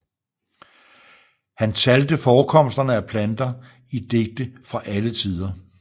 Han talte forekomsterne af planter i digte fra alle tider